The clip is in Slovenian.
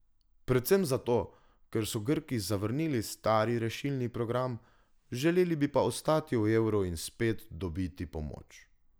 Predvsem zato, ker so Grki zavrnili stari rešilni program, želeli bi pa ostati v evru in spet dobiti pomoč.